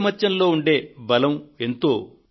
ఐకమత్యంతో ఉండే బలం ఎంతో